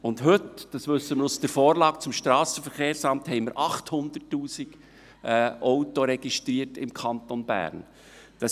Und heute, das wissen wir aus der Vorlage zum Strassenverkehrsamt, haben wir im Kanton Bern 800 000 Auto registriert.